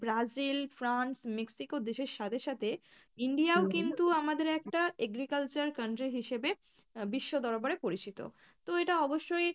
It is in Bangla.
Brazil France Mexico দেশের সাথে সাথে India ও কিন্তু আমাদের একটা agriculture country হিসেবে আহ বিশ্ব দরবারে পরিচিত, তো এটা অবশ্যই